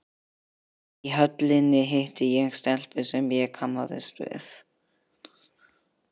Í Höllinni hitti ég stelpu sem ég kannaðist við.